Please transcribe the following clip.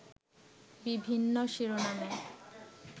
বিভিন্ন শিরোনামে